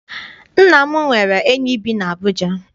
Nna m nwere enyi bi n'Abuja.